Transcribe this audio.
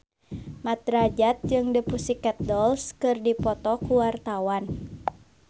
Mat Drajat jeung The Pussycat Dolls keur dipoto ku wartawan